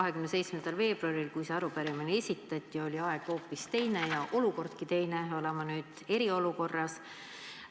27. veebruaril, kui see arupärimine esitati, oli aeg hoopis teine ja olukordki teine – oleme nüüd eriolukorras.